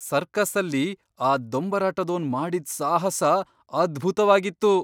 ಸರ್ಕಸ್ಸಲ್ಲಿ ಆ ದೊಂಬರಾಟದೋನ್ ಮಾಡಿದ್ ಸಾಹಸ ಅದ್ಭುತ್ವಾಗಿತ್ತು!